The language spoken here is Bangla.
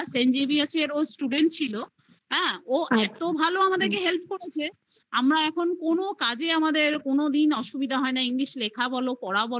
St. Xaviers এর student ছিল, ও এত ভালো আমাদের কে help করেছে আমরা এখন কোনো কাজে আমাদের কোনদিনও অসুবিধা হয় না english লেখা বলো